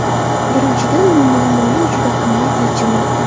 Birinchidan, bu muammoning juda qimmat yechimi.